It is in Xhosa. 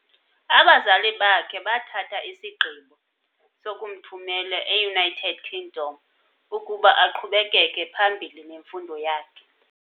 abazali bakhe bathatha isigqibo sokumthumela eUnited Kingdom ukuba aqhubekeke phambi nemfundo yakhe .